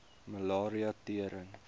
malaria tering